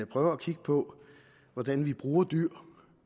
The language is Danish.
prøver at kigge på hvordan vi bruger dyr